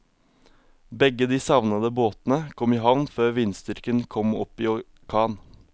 Begge de savnede båtene kom i havn før vindstyrken kom opp i orkan.